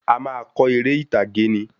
A máa kọ eré ìtàgé ni